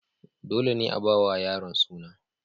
Dole ne a ba wa yaron suna.